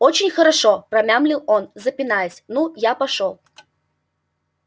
очень хорошо промямлил он запинаясь ну я пошёл